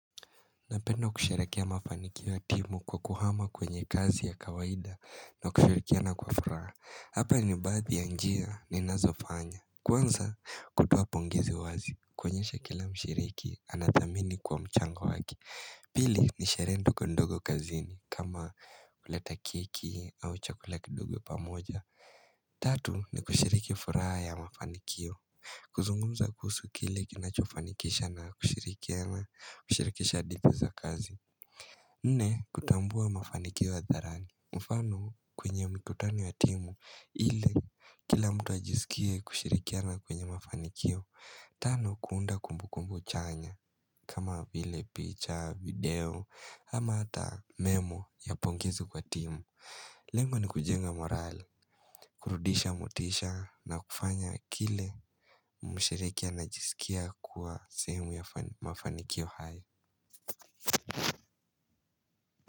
Napenda kusherekea mafanikio ya timu kwa kuhama kwenye kazi ya kawaida na kushirikiana kwa furaha. Hapa ni baadhi ya njia ninazofanya. Kwanza kutoa pongezi wazi. Koenyesha kila mshiriki anathamini kwa mchango wake. Pili ni sherehe ndogo ndogo kazini kama kuleta keki au chakula kidogo pamoja. Tatu ni kushirikia furaha ya mafanikio. Kuzungumza kuhusu kile kinachofanikisha na kushirikiana kushirikisha dipu za kazi nne kutambua mafanikio adharani mfano kwenye mikutano ya timu ili kila mtu ajisikie kushirikiana kwenye mafanikio Tano kuunda kumbu kumbu chanya kama vile picha, video ama hata memo ya pongezo kwa timu Lengo ni kujenga morale kurudisha motisha na kufanya kile mshiriki anajisikia kuwa sehemu ya mafanikio hai.